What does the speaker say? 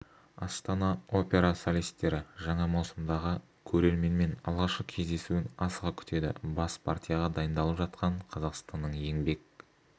астана опера солисттері жаңа маусымдағы көрерменмен алғашқы кездесуін асыға күтеді бас партияға дайындалып жатқан қазақстанның еңбек